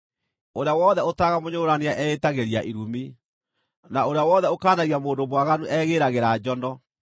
“Ũrĩa wothe ũtaaraga mũnyũrũrania eĩtagĩria irumi; na ũrĩa wothe ũkaanagia mũndũ mwaganu egĩĩragĩra njono.